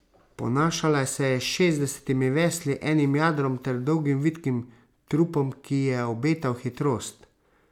Ponašala se je s šestdesetimi vesli, enim jadrom ter dolgim vitkim trupom, ki je obetal hitrost.